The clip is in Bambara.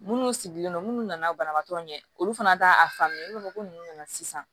Munnu sigilen don munnu nana banabaatɔ ɲɛ olu fana t'a faamuya i n'a fɔ ko nunnu nana sisan